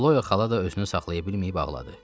Xloya xala da özünü saxlaya bilməyib ağladı.